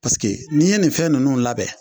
Paseke n'i ye nin fɛn ninnu labɛn.